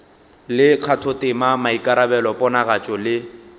le kgathotema maikarabelo ponagatšo le